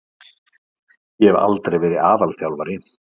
Ég hef aldrei verið aðalþjálfari.